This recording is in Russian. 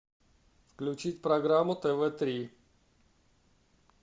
включить программу тв три